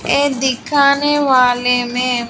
ये दिखाने वाले मे--